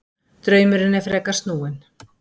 Draumurinn er frekar snúinn.